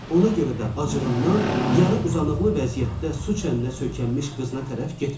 Ona görə də acığından yarı uzanıqlı vəziyyətdə su çəninə söykənmiş qızına tərəf getmədi.